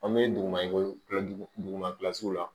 An bɛ duguma ko kila duguma kilasi la